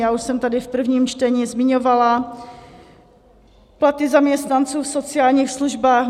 Já už jsem tady v prvním čtení zmiňovala platy zaměstnanců v sociálních službách.